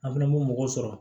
An fɛnɛ bɛ mɔgɔ sɔrɔ